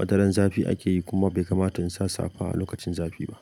wataran zafi ake yi kuma bai kamata in sa safa a lokacin zafi ba.